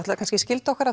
kannski skylda okkar